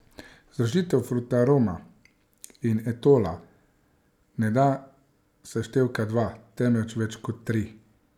Združitev Frutaroma in Etola ne da seštevka dva, temveč več kot tri.